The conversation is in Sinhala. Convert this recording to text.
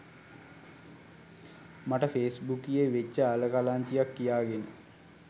මට ෆේක් බුකියේ වෙච්ච අල කලංචියක් කියාගෙන